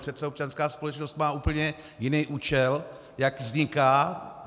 Přece občanská společnost má úplně jiný účel, jak vzniká.